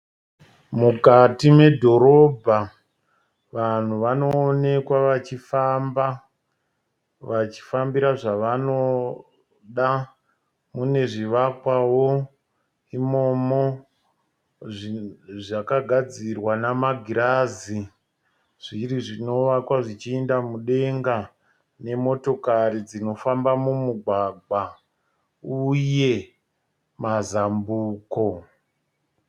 Mukati medhorobha, vanhu vanoonekwa vachifamba, vachifambira zvavanoda. Mune zvivakwavo imomo zvakagadzirwa namagirazi zviri zvinovakwa zvichienda mudenga, nemotokari dzinofamba mumugagwa uye mazambuko.